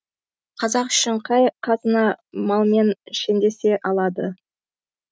қазақ үшін қай қазына малмен шендесе алады